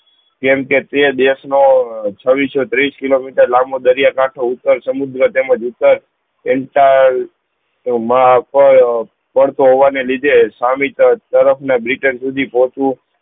કેમ કે તે દેશ નો ચાવી છત્રીસ કિલોમીટર લાંબો દરિયા કાંઠો ઉત્તર સમુદ્ર એન તા એવું માં અપાયો પણ તો હોવા ના લીધે સામી તરફ ના બ્રિટેન સુધી પોહોચવું